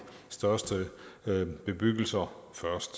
største bebyggelser